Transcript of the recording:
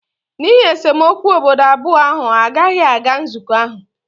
n'ihi esemokwu obodo abụọ ahụ agaghị aga nzukọ ahụ